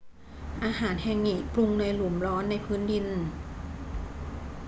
อาหารแฮงงิปรุงในหลุมร้อนในพื้นดิน